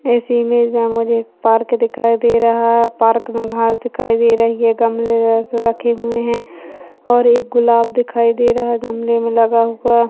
इस इमेज में मुझे एक पार्क दिखाई दे रहा है पार्क में घांस दिखाई दे रही है गमले रख रखे हुए हैं और एक गुलाब दिखाई दे रहा है गमले में लगा हुआ।